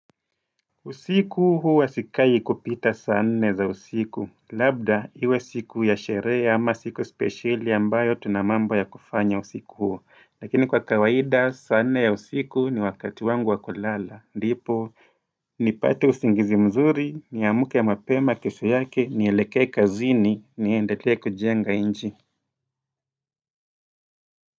Usiku huwa sikai kupita saa nne za usiku. Labda, iwe siku ya sherehe ama siku spesheli ambayo tunamambo ya kufanya usiku huo. Lakini kwa kawaida, saa nne ya usiku ni wakati wangu wa kulala. Ndipo, nipate usingizi mzuri, niamke mapema kesho yake, nieleke kazini, ni endelea kujenga inchi.